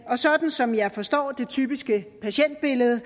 og sådan som jeg forstår den typiske patientbillede